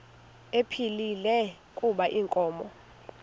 ephilile kuba inkomo